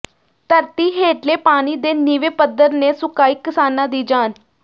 ਧਰਤੀ ਹੇਠਲੇ ਪਾਣੀ ਦੇ ਨੀਵੇਂ ਪੱਧਰ ਨੇ ਸੁਕਾਈ ਕਿਸਾਨਾਂ ਦੀ ਜਾਨ